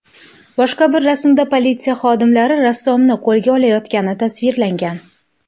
Boshqa bir rasmda politsiya xodimlari rassomni qo‘lga olayotgani tasvirlangan.